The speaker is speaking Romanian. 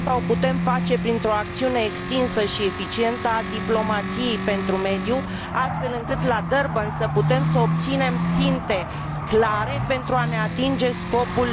Asta o putem face printr o acțiune extinsă și eficientă a diplomației pentru mediu, astfel încât la Durban să putem obține ținte clare pentru ne atinge scopul.